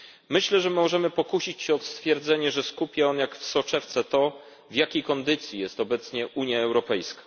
Myślę, że możemy pokusić się o stwierdzenie, że skupia on jak w soczewce to, w jakiej kondycji jest obecnie Unia Europejska.